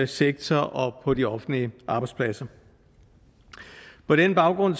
sektor og på de offentlige arbejdspladser på den baggrund